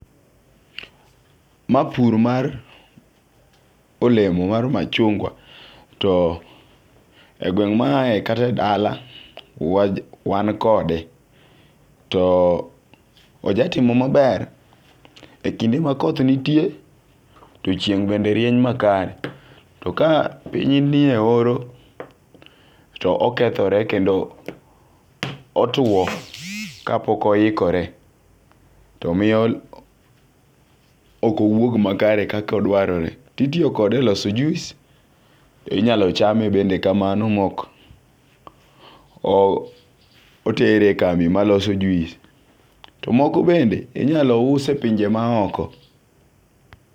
Ma pur mar olemo mar machungwa to e gweng' ma aaye kata edala wa wan kode. To oja timo maber e kinde makoth nitie to chieng' bende rieny makare. To ka piny nie oro to okethore kendo otwo kapok oikore. To miyo ok owuog makare kako dwarore. To itiyo kode e loso juis inyalo chame bende kamano mok ok otere kambi maloso juis to moko bende inyalo us e pinje maoko.